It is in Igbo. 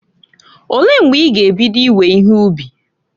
Olee mgbe i ga ebido iwe ihe ubi?